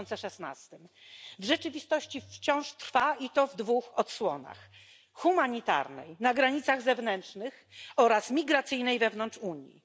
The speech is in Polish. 2016. W rzeczywistości wciąż trwa i to w dwóch odsłonach humanitarnej, na granicach zewnętrznych, oraz migracyjnej wewnątrz Unii.